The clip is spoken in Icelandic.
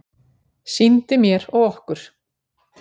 Sýndi mér og okkur